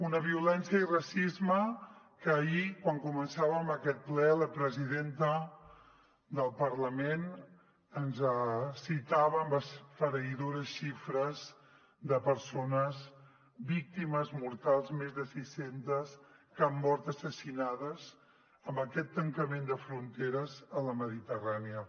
una violència i racisme que ahir quan començàvem aquest ple la presidenta del parlament ens citava amb esfereïdores xifres de persones víctimes mortals més de sis centes que han mort assassinades en aquest tancament de fronteres a la mediterrània